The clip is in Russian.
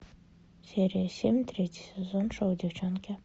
серия семь третий сезон шоу девчонки